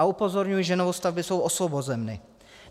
A upozorňuji, že novostavby jsou osvobozeny.